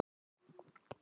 Hvað var hann að meina?